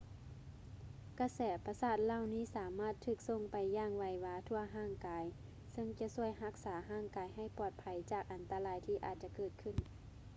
ກະແສປະສາດເຫຼົ່ານີ້ສາມາດຖືກສົ່ງໄປຢ່າງໄວວາທົ່ວຮ່າງກາຍເຊິ່ງຈະຊ່ວຍຮັກສາຮ່າງກາຍໃຫ້ປອດໄພຈາກໄພອັນຕະລາຍທີ່ອາດຈະເກີດຂຶ້ນ